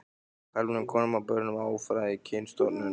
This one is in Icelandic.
karlmönnum, konum og börnum af óæðri kynstofnum.